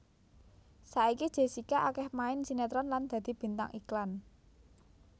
Saiki Jessica akéh main sinetron lan dadi bintang iklan